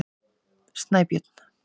Snæbjörn